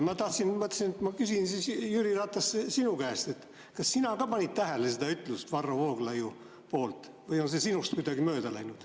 Ma mõtlesin, et küsin siis, Jüri Ratas, sinu käest, kas sina ka panid tähele seda Varro Vooglaiu ütlust või on see sinust kuidagi mööda läinud.